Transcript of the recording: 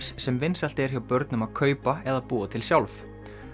sem vinsælt er hjá börnum að kaupa eða búa til sjálf